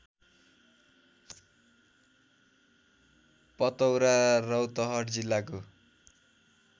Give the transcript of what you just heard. पतौरा रौतहट जिल्लाको